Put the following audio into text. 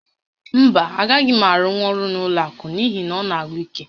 Mba, agaghị m arụnwu ọrụ n'ụlọ àkụ̀ n'ihi na ọ na-agwụ íké